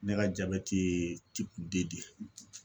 Ne ka jabɛti ye de ye